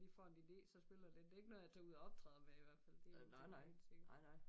Lige får en ide så spiller lidt det ikke noget jeg tager ud og optræder med i hvert fald det en ting der helt sikker